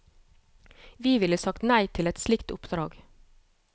Vi ville sagt nei til et slikt oppdrag.